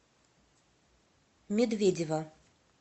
медведева